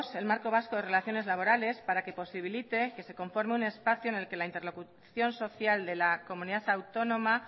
el marco vasco de relaciones laborales para que posibilite que se conforme un espacio en el que la interlocución social de la comunidad autónoma